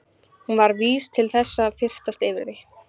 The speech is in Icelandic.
Hún var vís til þess að fyrtast yfir því.